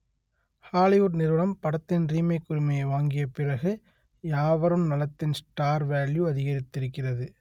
Hollywood நிறுவனம் படத்தின் remake உ‌ரிமையை வாங்கிய பிறகு யாவரும் நலத்தின் ஸ்டார் வேல்யூ அதிக‌ரித்திருக்கிறது